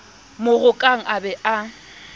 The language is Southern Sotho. mo rokang a be a